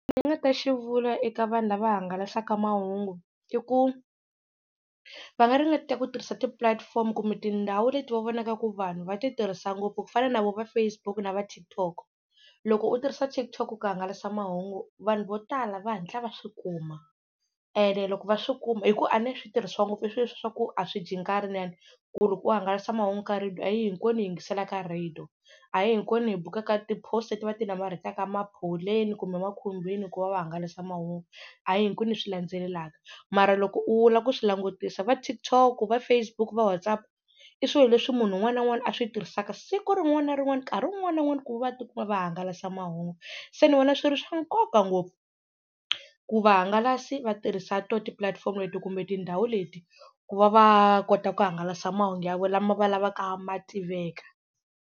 ni nga ta xi vula eka vanhu lava hangalasaka mahungu i ku va nga ringeta ku tirhisa ti-platform kumbe tindhawu leti va vonaka ku vanhu va ti tirhisa ngopfu ku fana na voho va Facebook na va TikTok loko u tirhisa TikTok ku hangalasa mahungu vanhu vo tala va hatla va swi kuma ene loko va swi kuma hi ku a ne swi tirhiswa ngopfu i swilo swaku a swi dyi nkarhi ku ri ku hangalasa mahungu ka radio a hi hinkwenu hi yingiselaka radio, a hi hinkwenu hi bukaka ti-poster leti va ti namarhetaka maphowuleni kumbe makhumbini ku va va hangalasa mahungu, a hi hinkwenu hi swi landzelelaka mara loko u lava ku swi langutisa va TikTok, va Facebook, va WhatsApp i swilo leswi munhu un'wana na un'wana a swi tirhisaka siku rin'wana na rin'wana nkarhi wun'wani na wun'wani ku va tikuma va hangalasa mahungu, se ni vona swi ri swa nkoka ngopfu ku vahangalasi va tirhisa to ti-platform-o leti kumbe tindhawu leti ku va va kota ku hangalasa mahungu ya vo lama va lavaka ma tiveka.